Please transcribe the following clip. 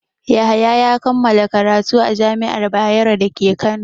Yahaya ya kammala karatu a jami'ar Bayero da ke Kano.